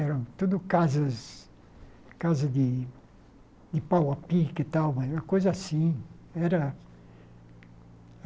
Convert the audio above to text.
eram tudo casas casa de pau-a-pique e tal, mas era coisa assim. Era